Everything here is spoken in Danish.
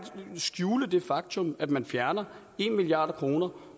skjule det faktum at man fjerner en milliard kroner